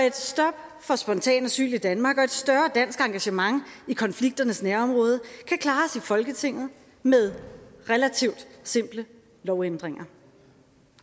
et stop for spontan asyl i danmark og et større dansk engagement i konflikternes nærområde kan klares i folketinget med relativt simple lovændringer